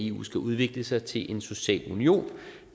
eu skal udvikle sig til en social union